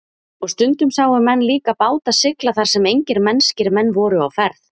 Og stundum sáu menn líka báta sigla þar sem engir mennskir menn voru á ferð.